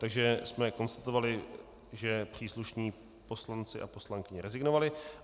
Takže jsme konstatovali, že příslušní poslanci a poslankyně rezignovali.